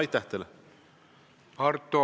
Aitäh teile!